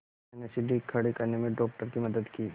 मैंने सीढ़ी खड़े करने में डॉक्टर की मदद की